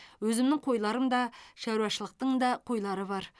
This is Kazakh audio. өзімнің қойларым да шарушылықтың да қойлары бар